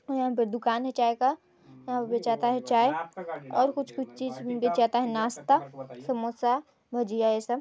--और यहाँ पे दुकान है चाय का यहाँ बेचा जाता है चाये और कुछ कुछ चीज भी बेचा जाता है नास्ता समोसा भजिया ये सब--